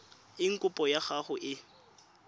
eng kopo ya gago e